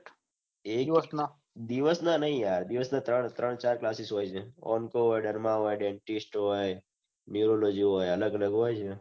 AU એસ માં દિવસ ના ની યાર બે કે ત્રણચાર સિવાય જાય અઓમ તો દરમાં એવા dentist હોય biology વાળા એમાં થી બાનાયું